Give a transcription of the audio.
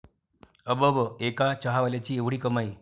अबब, एका चहावाल्याची 'एवढी' कमाई?